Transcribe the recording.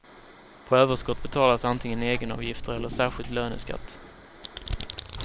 På överskott betalas antingen egenavgifter eller särskild löneskatt.